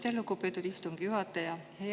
Aitäh, lugupeetud istungi juhataja!